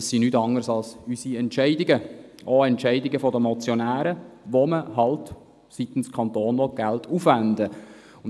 Diese sind nichts anderes als unsere Entscheidungen, auch Entscheidungen der Motionäre, wenn man seitens des Kantons Geld aufwenden will.